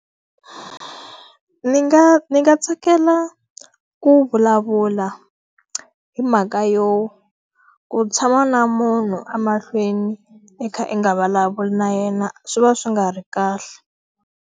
Ni nga ni nga tsakela ku vulavula hi mhaka yo, ku tshama na munhu emahlweni i kha i nga vulavula na yena swi va swi nga ri kahle.